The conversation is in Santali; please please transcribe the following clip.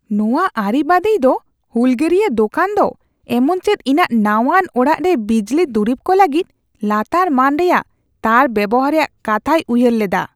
ᱱᱚᱣᱟ ᱟᱹᱨᱤᱵᱟᱸᱫᱤᱭ ᱫᱚ ᱦᱩᱞᱜᱟᱹᱨᱤᱭᱟ ᱫᱳᱠᱟᱱ ᱫᱚ ᱮᱢᱚᱱᱪᱮᱫ ᱤᱧᱟᱹᱜ ᱱᱟᱣᱟᱱ ᱚᱲᱟᱜ ᱨᱮ ᱵᱤᱡᱽᱞᱤ ᱫᱩᱨᱤᱵ ᱠᱚ ᱞᱟᱹᱜᱤᱫ ᱞᱟᱛᱟᱨ ᱢᱟᱹᱱ ᱨᱮᱭᱟᱜ ᱛᱟᱨ ᱵᱮᱣᱦᱟᱨ ᱨᱮᱭᱟᱜ ᱠᱟᱛᱷᱟᱭ ᱩᱭᱦᱟᱹᱨ ᱞᱮᱫᱟ ᱾